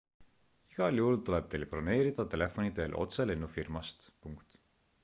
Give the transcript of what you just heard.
igal juhul tuleb teil broneerida telefoni teel otse lennufirmast